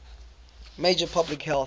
major public health